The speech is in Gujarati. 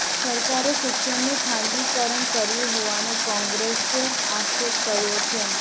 સરકારે શિક્ષણનું ખાનગીકરણ કર્યું હોવાનો કોંગ્રેસે આક્ષેપ કર્યો છે